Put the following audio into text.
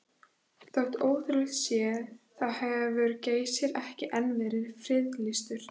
Þótt ótrúlegt sé þá hefur Geysir ekki enn verið friðlýstur.